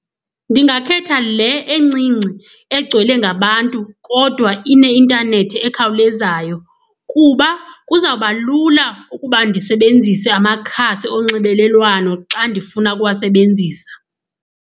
Ndingakhetha le encinci egcwele ngabantu kodwa ineintanethi ekhawulezayo kuba kuzawuba lula ukuba ndisebenzise amakhasi onxibelelwano xa ndifuna ukuwasebenzisa.